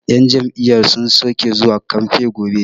yan Jam'iyya sun soke zuwa kamfe gobe